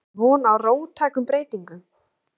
Fréttamaður: Það er von á róttækum breytingum?